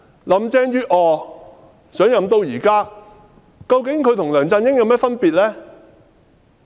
林鄭月娥上任至今，與梁振英有何分別呢？